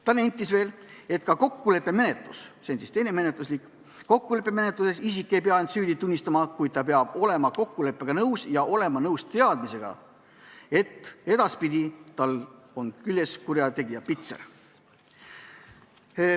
Ta nentis veel, et ka kokkuleppemenetluses – see on siis teine menetluse liik – ei pea isik end süüdi tunnistama, kuid ta peab olema kokkuleppega nõus ja leppima teadmisega, et edaspidi tal on küljes kurjategija pitser.